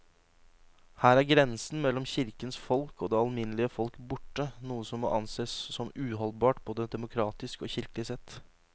Her er grensen mellom kirkens folk og det alminnelige folk borte, noe som må ansees som uholdbart både demokratisk og kirkelig sett.